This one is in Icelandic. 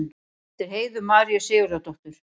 eftir heiðu maríu sigurðardóttur